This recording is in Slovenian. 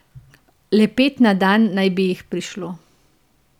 Le pet na dan naj bi jih prišlo.